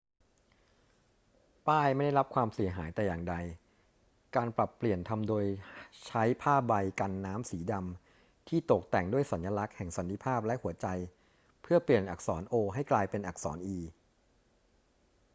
ป้ายไม่ได้รับความเสียหายแต่อย่างใด การปรับเปลี่ยนทำโดยใช้ผ้าใบกันน้ำสีดำที่ตกแต่งด้วยสัญลักษณ์แห่งสันติภาพและหัวใจเพื่อเปลี่ยนอักษร o ให้กลายเป็นอักษร e